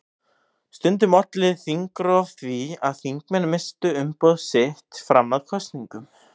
Stundum olli þingrof því að þingmenn misstu umboð sitt fram að kosningum.